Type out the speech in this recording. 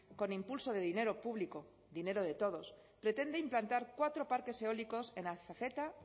con impulso de dinero público dinero de todos pretende implantar cuatro parques eólicos en azazeta